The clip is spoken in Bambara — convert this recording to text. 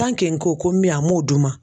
n ko ko n bɛ yan a m'o d'u ma